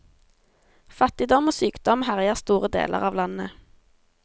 Fattigdom og sykdom herjer store deler av landet.